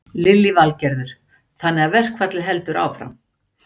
Lillý Valgerður: Þannig að verkfallið heldur áfram?